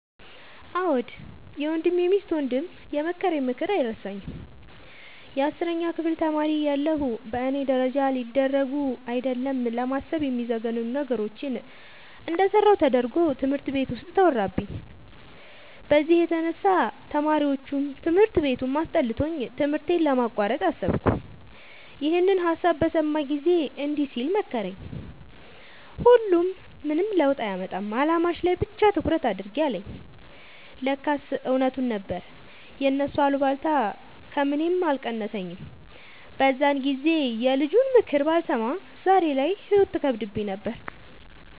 አዎ የወንድሜ ሚስት ወንድም የመከረኝ ምክር አይረሳኝም። የአስረኛ ክፍል ተማሪ እያለሁ በእኔ ደረጃ ሊደረጉ አይደለም ለማሰብ የሚዘገንኑ ነገሮችን እንደሰራሁ ተደርጎ ትምህርት ቤት ውስጥ ተወራብኝ። በዚህ የተነሳ ተማሪዎቹም ትምህርት ቤቱም አስጠልቶኝ ትምህርቴን ለማቋረጥ አሰብኩ። ይኸንን ሀሳብ በሰማ ጊዜ እንዲህ ሲል መከረኝ "ሁሉም ምንም ለውጥ አያመጣም አላማሽ ላይ ብቻ ትኩረት አድርጊ" አለኝ። ለካስ እውነቱን ነበር የእነሱ አሉባልታ ከምኔም አልቀነሰኝም። በዛን ጊዜ የልጁንምክር ባልሰማ ዛሬ ላይ ህይወት ትከብደኝ ነበር።